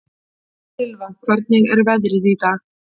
Silfa, hvernig er veðrið í dag?